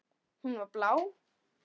Hún var blá.